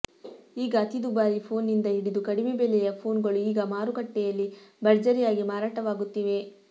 ಈಗ ಅತಿ ದುಬಾರಿ ಫೋನ್ನಿಂದ ಹಿಡಿದು ಕಡಿಮೆ ಬೆಲೆಯ ಫೋನ್ಗಳು ಈಗ ಮಾರುಕಟ್ಟೆಯಲ್ಲಿ ಭರ್ಜರಿಯಾಗಿ ಮಾರಾಟವಾಗುತ್ತಿವೆ